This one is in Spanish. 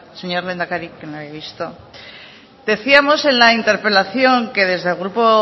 señor lehendakari que no le había visto decíamos en la interpelación que desde el grupo